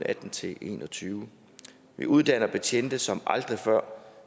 atten til en og tyve vi uddanner betjente som aldrig før